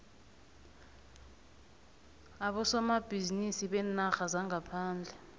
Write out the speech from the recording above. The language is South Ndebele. abosomabhizinisi beenarha zangaphandle